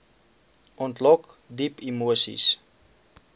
ontlok diep emoseis